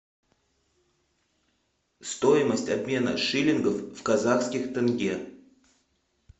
стоимость обмена шиллингов в казахских тенге